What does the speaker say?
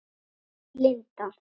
Þín, Linda.